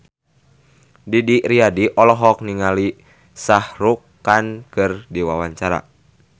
Didi Riyadi olohok ningali Shah Rukh Khan keur diwawancara